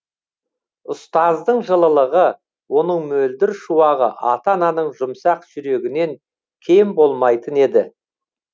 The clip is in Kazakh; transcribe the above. ұстаздың жылылығы оның мөлдір шуағы ата ананың жұмсақ жүрегінен кем болмайтын еді